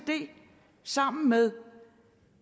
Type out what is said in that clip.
sammen med